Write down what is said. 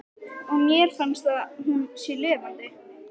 Og mér finnst að hún sé lifandi.